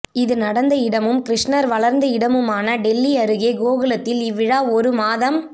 இது நடந்த இடமும் கிருஷ்ணர் வளர்ந்த இடமுமான டில்லி அருகே கோகுலத்தில் இவ்விழா ஒரு மாதம்